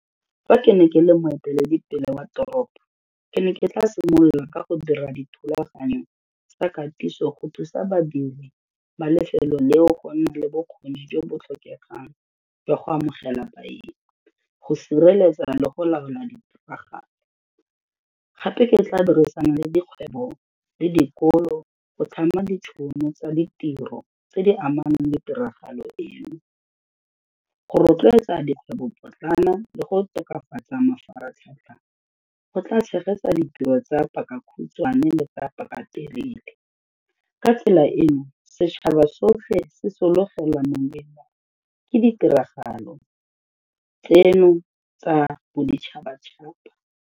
Fa ke ne ke le moeteledipele wa toropo, ke ne ke tla simolola ka go dira dithulaganyo tsa katiso go thusa badiri ba lefelo leo go nne le bokgoni jo bo tlhokegang jwa go amogela baeng go sireletsa le go laola di tiragalo. Gape ke tla dirisana le dikgwebo le dikolo go tlhama ditšhono tsa ditiro tse di amanang le tiragalo eno. Go rotloetsa dikgwebopotlana le go tokafatsa mafaratlhatlha go tla tshegetsa ditiro tsa paka khutshwane le paka telele ka tsela eno setšhaba sotlhe se solofela ke ditiragalo tseno tsa boditšhabatšhaba.